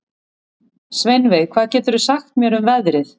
Sveinveig, hvað geturðu sagt mér um veðrið?